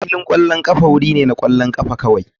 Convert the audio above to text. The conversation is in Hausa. Filin ƙwallon ƙafa wuri ne na ƙwallon ƙafa kawai.